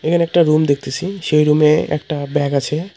এখানে একটা রুম দেখতেসি সেই রুম -এ একটা ব্যাগ আছে।